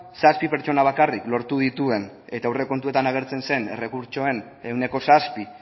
zazpi pertsona bakarrik lortu dituen eta aurrekontuetan agertzen zen errekurtsoen ehuneko zazpi